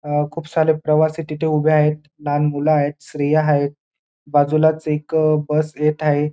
अ खूप सारे प्रवासी तिथ उभे आहेत लहान मुलं आहेत स्त्रिया हायेत बाजूलाच एक बस येत आहे.